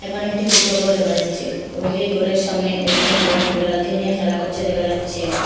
এখানে একটি ছোট্ট ঘর দেখা যাচ্ছে এবং এই ঘরের সামনে একজন লোক বিড়াল কে নিয়ে খেলা করছে দেখা যাচ্ছে।